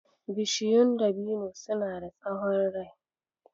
Bishiyun dabino suna da tsahon rai.